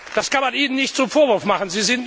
Das kann man Ihnen nicht zum Vorwurf machen.